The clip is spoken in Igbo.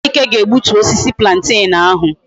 Ejike ga egbutu osisi plantain ahu